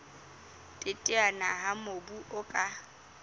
teteana ha mobu o ka